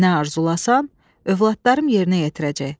Nə arzulassan, övladlarım yerinə yetirəcək.